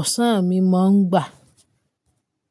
ọ̀sán mi máa ń gbà.